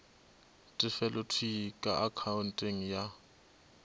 tefelo thwii ka akhaonteng ya